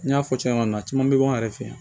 N y'a fɔ cogoya min na caman bɛ bɔ anw yɛrɛ fɛ yan